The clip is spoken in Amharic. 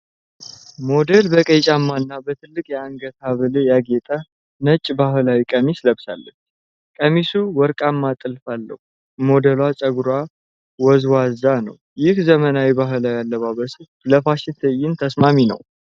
ሞዴል በቀይ ጫማ እና በትልቅ የአንገት ሐብል ያጌጠ ነጭ ባህላዊ ቀሚስ ለብሳለች። ቀሚሱ ወርቃማ ጥልፍ አለው። ሞዴሏ ፀጉሯ ወዝዋዛ ነው። ይህ ዘመናዊ ባህላዊ አለባበስ ለፋሽን ትዕይንት ተስማሚ ነው?